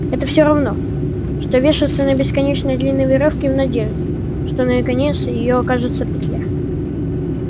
это все равно что вешаться на бесконечно длинной верёвке в надежде что на её конец её окажется петля